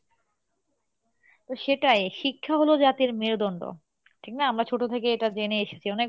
তো সেটাই শিক্ষা হলো জাতির মেরুদন্ড ঠিক না? আমরা ছোটো থেকে এটা জেনে এসেছি অনেক